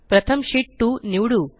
प्रथम शीत 2 निवडू